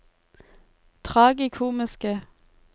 tragikomiske